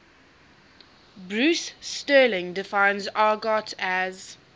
bruce sterling defines argot as